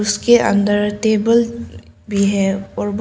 उसके अंदर टेबल भी है और बहुत--